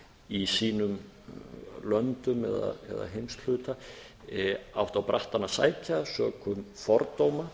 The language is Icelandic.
í sínum löndum eða heimshluta átt á brattann að sækja sökum fordóma